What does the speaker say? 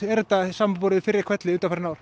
er þetta í samanburði við fyrri ár